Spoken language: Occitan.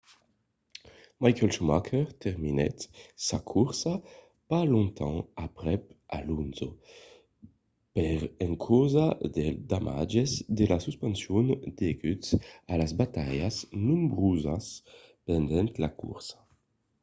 michael schumacher terminèt sa corsa pas longtemps aprèp alonso per encausa dels damatges de la suspension deguts a las batalhas nombrosas pendent la corsa